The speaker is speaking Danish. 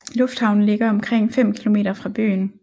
Lufthavnen ligger omkring 5 km fra byen